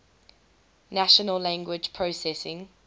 natural language processing